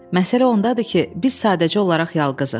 Məsələ ondadır ki, biz sadəcə olaraq yalqızıq.